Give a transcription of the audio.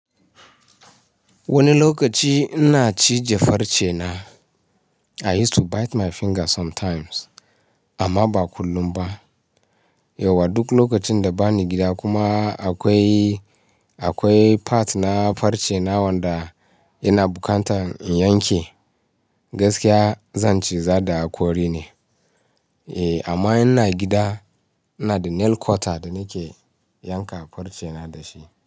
Wani lokaci ina cije farce na. I use to bite my finger sometimes amma ba kullum ba. Yauwa duk lokacin da bani gida kuma akwai, akwai part na farce na wanda yana bukantan in yanke, gaskiya zan ciza da haƙori ne. Eh amma ina gida ina da nail cutter da nake yanka farce na da shi.